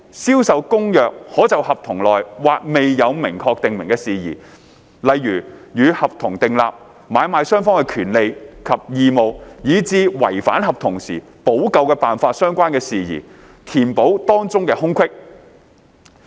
《銷售公約》可就合同內或未有明確訂明的事宜，例如與合同訂立、買賣雙方的權利及義務、以至違反合同時補救辦法相關的事宜，填補當中的空隙。